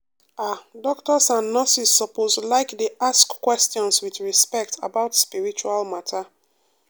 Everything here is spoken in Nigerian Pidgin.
ah doctors and nurses suppose like dey ask questions with respect about spiritual matter.